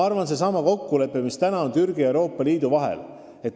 Võtkem seesama kokkulepe, mis on Türgi ja Euroopa Liidu vahel sõlmitud!